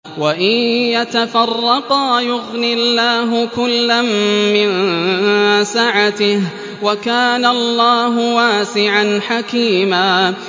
وَإِن يَتَفَرَّقَا يُغْنِ اللَّهُ كُلًّا مِّن سَعَتِهِ ۚ وَكَانَ اللَّهُ وَاسِعًا حَكِيمًا